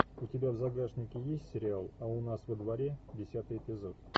у тебя в загашнике есть сериал а у нас во дворе десятый эпизод